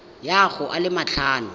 ya go a le matlhano